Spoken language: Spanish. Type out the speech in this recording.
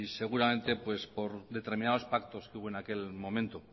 seguramente por determinados pactos que hubo en aquel momento